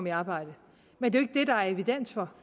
i arbejde men det er der er evidens for